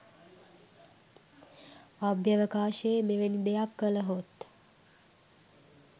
අභ්‍යවකාශයේ මෙවැනි දෙයක් කලහොත්